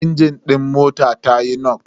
Injin din motar tayi nok.